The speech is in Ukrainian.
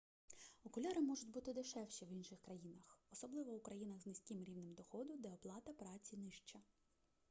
окуляри можуть буди дешевші в інших країнах особливо у країнах з низьким рівнем доходу де оплата праці нижча